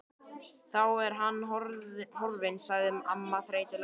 Þá er hann horfinn sagði amman þreytulega.